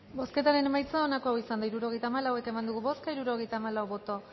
bozketaren emaitza onako izan da hirurogeita hamalau eman dugu bozka hirurogeita hamalau boto